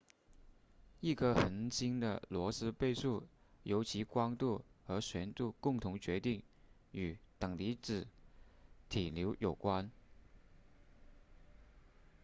一颗恒星的罗斯贝数由其光度和旋度共同决定与等离子体流有关